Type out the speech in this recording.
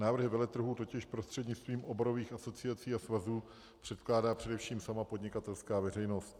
Návrhy veletrhů totiž prostřednictvím oborových asociací a svazů předkládá především sama podnikatelská veřejnost.